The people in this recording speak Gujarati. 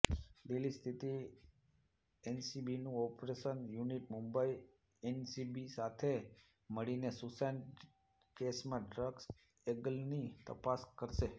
દિલ્હી સ્થિત એનસીબીનું ઓપરેશન્સ યુનિટ મુંબઈ એનસીબી સાથે મળીને સુશાંત કેસમાં ડ્રગ્સ એંગલની તપાસ કરશે